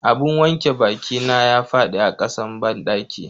Abun wanke bakina ya fadi a kasan banɗaki.